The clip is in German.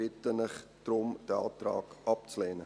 Ich bitte Sie deshalb, diesen Antrag abzulehnen.